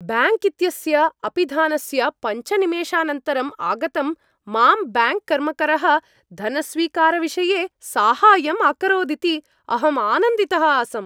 Bank इत्यस्य अपिधानस्य पञ्च निमेषानन्तरम् आगतं मां ब्याङ्क् कर्मकरः धनस्वीकारविषये साहाय्यम् अकरोदिति अहम् आनन्दितः आसम्।